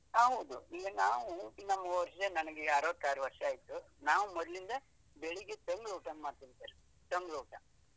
ಹೌದು ಈಗ ನಾವು ಇನ್ನೊಂದು ವರ್ಷ ನನ್ಗೆ ಅರ್ವತ್ತಾರು ವರ್ಷ ಆಯ್ತು, ನಾವು ಮೊದ್ಲಿಂದ ಬೆಳಿಗ್ಗೆ ತಂಗ್ಳೂಟ ಮಾಡ್ತಿದ್ವಿ ಸರ್ ತಂಗ್ಳೂಟ.